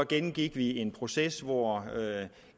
gennemgik vi en proces hvor